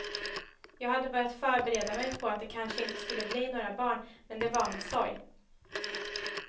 Jag hade börjat förbereda mig på att det kanske inte skulle bli några barn, men det var med sorg.